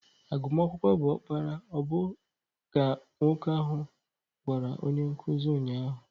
Agụmakwụkwọ bụ ọkpara ọ bụla ka nwoke ahụ gwara onye nkuzi ụnyahụ.